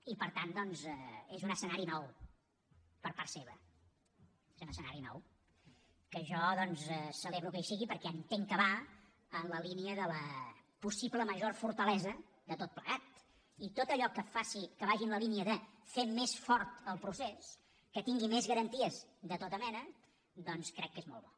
i per tant doncs és un escenari nou per part seva és un escenari nou que jo celebro que hi sigui perquè entenc que va en la línia de la possible major fortalesa de tot plegat i tot allò que vagi en la línia de fer més fort el procés que tingui més garanties de tota mena crec que és molt bo